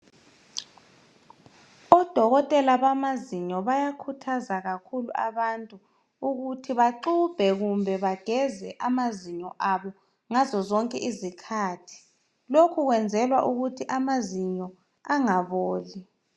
Odokotela bamazinyo bayakhuthaza kakhulu abantu ukuthi baxubhe kumbe bageze amazinyo abo ngazo zonke izikhathi. Lokhu kwenzelwa ukuthi amazinyo angaboli.